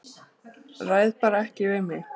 Ræð bara ekki við mig.